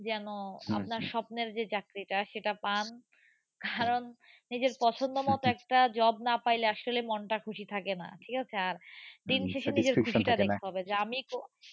যেন আপনার স্বপ্নের যে চাকরিটা সেটা পান। কারণ নিজের পছন্দমতো একটা job না পাইলে আসলে মনটা খুশি থাকে না। ঠিক আছে। আর দিন শেষে নিজের খুশিটা দেখতে হবে যে আমি কোন